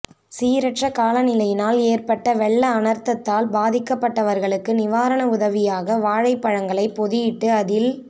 சீரற்ற காலநிலையினால் ஏற்பட்ட வெள்ள அனர்த்தத்தால் பாதிக்கப்பட்டவர்களுக்கு நிவாரண உதவியாக வாழைப்பழங்களை பொதியிட்டு அதில்